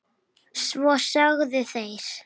Svo þögðu þeir.